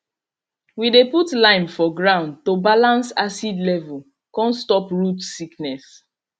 we dey put lime for ground to balance acid level come stop root sickness